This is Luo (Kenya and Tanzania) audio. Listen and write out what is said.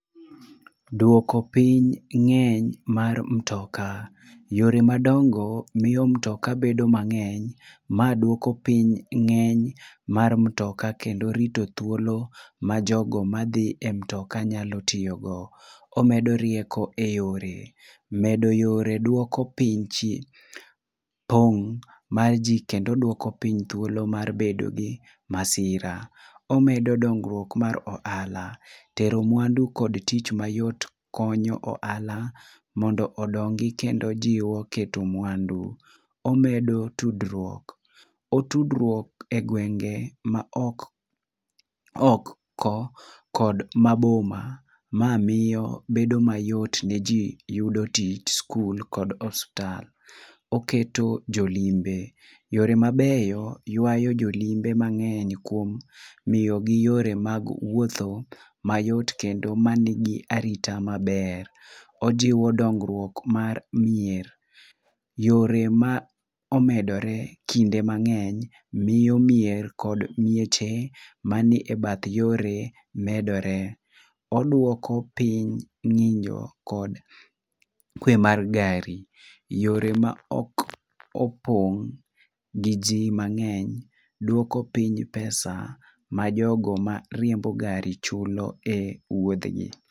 Dwoko piny ng'eny mar motoka yore madongo miyo mtoka bedo mangeny ma dwoko piny ngeny mar mtoka kendo riti thuolo ma jo go ma dhie mtola nyalo tiyo go. Omedo rieko e yore ,medo yore oko piny pong mar ji kendo odwoko piny thhuolo mar bedo gi masira, omedo dongruok mar ohala tero mwandu kod tich mayot konyo ohahal mondo odongi kendo jiwo keto mwandu. Omedo tudruok, tudruok e gwenge ma oko kiod ma boma, ma miyo bbedo mayot yudo tich skul kod osiptal. Oketo jolimbe ,yore ma beyo ywayo jo limbe ma ngeny kuom miyi gi yore mag wuotho ma yot kod arita maber. ojiwo dongruok mar mier. yore ma omedore kinde mangeny miyo mier kod mieche ma ni e bath yore medore .Odwoko piny nyinyo kod kwe mar gari, yore ma ok opong gi ji mang'eny dwoko piny pesa ma jo gari chulo e wuodh gi.